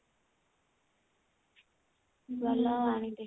ଭଲ ଆଉ ଆଣିଦେ